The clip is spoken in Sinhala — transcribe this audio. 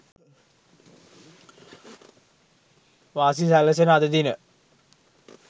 වාසි සැලසෙන අද දින